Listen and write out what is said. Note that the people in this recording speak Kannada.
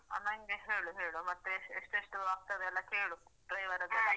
ಹ ನನ್ಗೆ ಹೇಳು ಹೇಳು ಮತ್ತೆ ಎಷ್ಟು ಎಷ್ಟು ಆಗ್ತದೆ ಎಲ್ಲಾ ಕೇಳು driver ಅದೆಲ್ಲ .